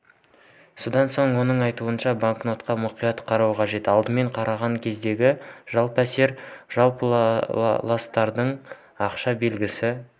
содан соң оның айтуынша банкнотқа мұқият қарау қажет алдымен қараған кездегі жалпы әсер қалыптастырылады ақша белгісі